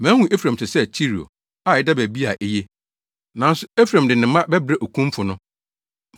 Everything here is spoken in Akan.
Mahu Efraim te sɛ Tiro, a ɛda baabi a eye. Nanso Efraim de ne mma bɛbrɛ okumfo no.”